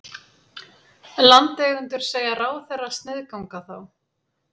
Landeigendur segja ráðherra sniðganga þá